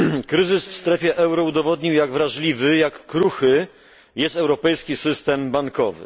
Kryzys w strefie euro udowodnił jak wrażliwy, jak kruchy jest europejski system bankowy.